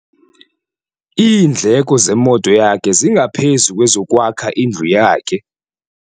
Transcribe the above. Iindleko zemoto yakhe zingaphezu kwezokwakha indlu yakhe.